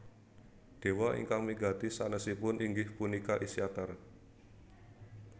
Dewa ingkang migati sanèsipun inggih punika Isytar